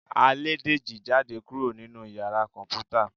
à lẹ dejí jadé kuro ninú ìyára Kọǹpútà